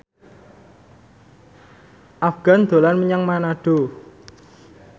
Afgan dolan menyang Manado